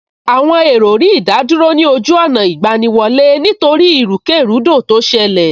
Àwọn èrò rí ìdádúró ní ojú ọ̀nà ìgbaniwọlé nítorí ìrúkèrúdò tó ṣẹlẹ̀